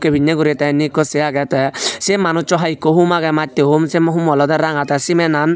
ubiney guri tey ekku sey agey tey se manuchu haai ekku hoom agey mattey hoom sey hummo olodey ranga tey cement an.